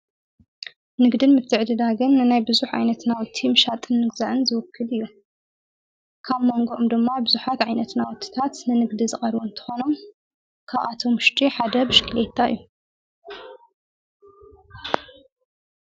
ንግድን ምትዕድዳግን ንናይ ብዙኅ ዓይነትናው ቲ ምሻጥን ንግዛዕን ዝውክድ እዩ ካብ መንጎኦም ድማ ብዙኃት ዓይነት ናወትታት ንንግዲ ዝቐር እንተኾኖም ካብኣቶም ሽድ ሓደ ብሽክልየታ እዩ።